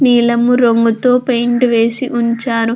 నీలము రంగుతో పెయింట్ వేసి ఉంచారు.